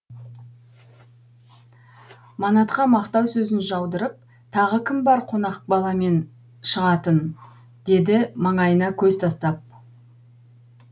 манатқа мақтау сөзін жаудырып тағы кім бар қонақ баламен шығатын деді